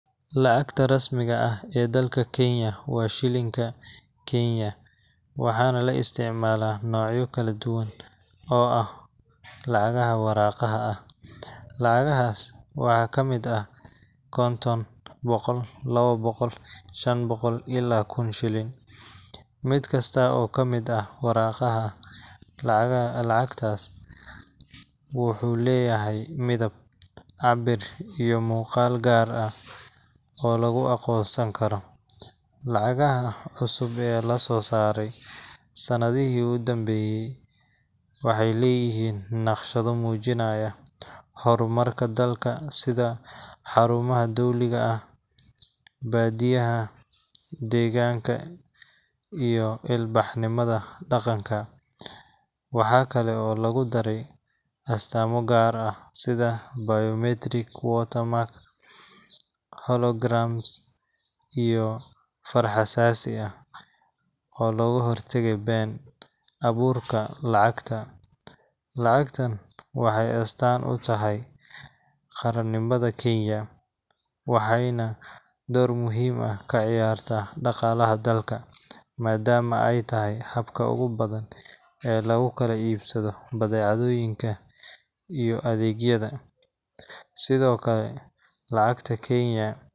Lacagta rasmiga ah ee dalka Kenya waa Shiling-ka Kenya, waxaana la isticmaalaa noocyo kala duwan oo ah lacagaha waraaqaha ah. Lacagahaas waxaa ka mid ah konton, boqol, lawa boqol, shan boqol iyo kun shilin. Mid kasta oo ka mid ah waraaqaha lacagtaas ah wuxuu leeyahay midab, cabbir iyo muuqaal gaar ah oo lagu aqoonsan karo. Lacagaha cusub ee lasoo saaray sannadihii u dambeeyay waxay leeyihiin naqshado muujinaya horumarka dalka sida xarumaha dowliga ah, baadiyaha, deegaanka, iyo ilbaxnimada dhaqanka. Waxa kale oo lagu daray astaamo gaar ah sida biometric watermark, holograms, iyo far-xasaasi ah oo looga hortagayo been-abuurka lacagta. Lacagtan waxay astaan u tahay qarannimada Kenya, waxayna door muhiim ah ka ciyaartaa dhaqaalaha dalka, maadaama ay tahay habka ugu badan ee lagu kala iibsado badeecooyinka iyo adeegyada. Sidoo kale, lacagta Kenya.